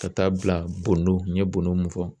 Ka t'a bila bondon n ye bondon mun fɔ.